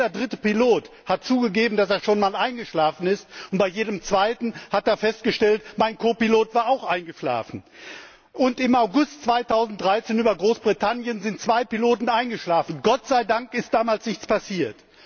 Jeder dritte Pilot hat zugegeben, dass er schon einmal eingeschlafen ist, und bei jedem zweiten Mal hat er festgestellt Mein Kopilot war auch eingeschlafen. Und im August 2013 sind über Großbritannien zwei Piloten eingeschlafen, Gott sei Dank ist damals nichts passiert.